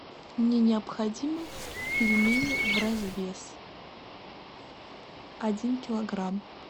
мне необходимы пельмени в развес один килограмм